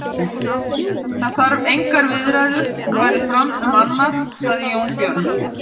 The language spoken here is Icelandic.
Það hafa engar viðræður farið fram um annað, sagði Jón Björn.